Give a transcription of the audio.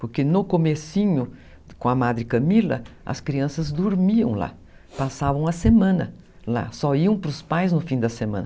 Porque no comecinho, com a Madre Camila, as crianças dormiam lá, passavam a semana lá, só iam para os pais no fim da semana.